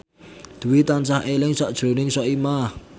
Dwi tansah eling sakjroning Soimah